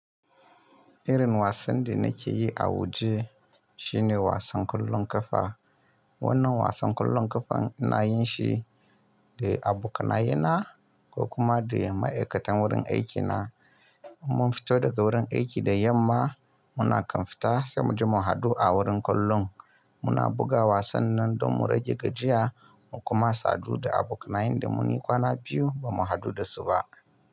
Irin wasan da nake yi a waje shine wasan kollon kafa. Wannan wasan kollon kafan ina yin shi da abokanayena ko kuma da ma'aikatan wurin aikina. In mun fito daga wurin aiki da yamma, muna kan fita sai mu je mu haɗu a wurin kollon. Muna buga wasan nan don mu rage gajiya mu kuma sadu da abokanayen da mun yi kwana biyu ba mu hadu da su ba.